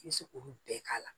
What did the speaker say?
I bɛ se k'olu bɛɛ k'a la